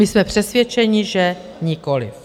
My jsme přesvědčeni, že nikoliv.